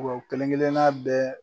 Wa u kɛlen kelenna bɛɛ